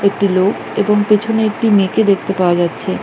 একটি লোক এবং পেছনে একটি মেয়েকে দেখতে পাওয়া যাচ্ছে।